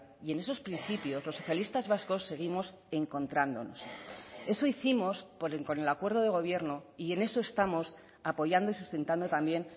y en esos principios los socialistas vascos seguimos encontrándonos eso hicimos con el acuerdo de gobierno y en eso estamos apoyando y sustentando también